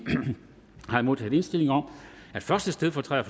har jeg modtaget indstilling om at første stedfortræder